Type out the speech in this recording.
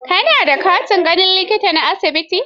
Ka na da katin ganin likita na asibitin?